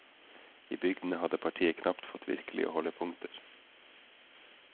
I bygdene hadde partiet knapt fått virkelige holdepunkter.